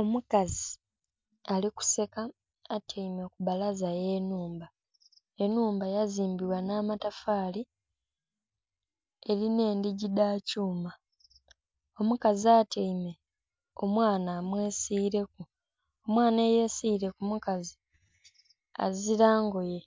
Omukazi ali kuseka atyaime ku bbalaza ye nhumba, enhumba ya zimbibwa nha matafali erinha endhigii dha kyuma. Omukazi atyaime omwana amwe siileku, omwana eyesiile ku mukazi azila ngoye